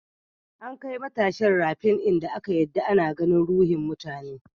An kai matashin rafin in da aka yarda ana ganin ruhin mutane.